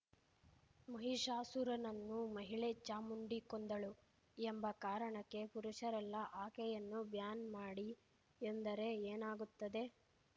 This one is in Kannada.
ಮಹಿಷಾಸುರನನ್ನು ಮಹಿಳೆ ಚಾಮುಂಡಿ ಕೊಂದಳು ಎಂಬ ಕಾರಣಕ್ಕೆ ಪುರುಷರೆಲ್ಲಾ ಆಕೆಯನ್ನು ಬ್ಯಾನ್‌ ಮಾಡಿ ಎಂದರೆ ಏನಾಗುತ್ತದೆ